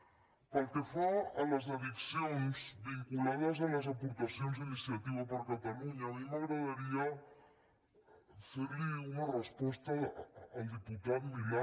pel que fa a les addicions vinculades a les aportacions d’iniciativa per catalunya a mi m’agradaria ferli una resposta al diputat milà